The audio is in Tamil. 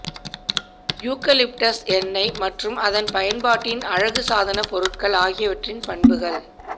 யூகலிப்டஸ் எண்ணெய் மற்றும் அதன் பயன்பாட்டின் அழகுசாதன பொருட்கள் ஆகியவற்றின் பண்புகள்